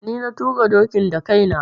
Ni na tuƙa dokin da kai na.